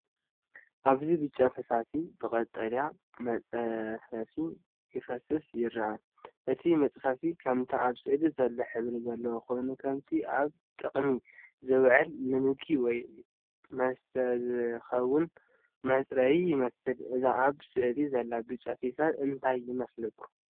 ኣብዚ ብጫ ፈሳሲ ብቐጠልያ መፅፈፊ ክፈስስ ይርአ። እቲ መፅፈፊ ከምቲ ኣብ ስእሊ ዘሎ ሕብሪ ዘለዎ ኮይኑ ከምቲ ኣብ ጥቕሚ ዝውዕል ንምግቢ ወይ መስተ ዝኸውን መጽረዪ ይመስል። እዚ ኣብ ስእሊ ዘሎ ብጫ ፈሳሲ እንታይ ይመስለኩም?